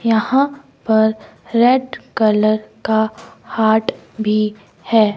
यहां पर red colour का हार्ट भी है।